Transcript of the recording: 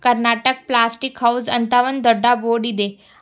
Karnataka plastic house ಅಂತ ದೊಡ್ಡ board ಇದೆ.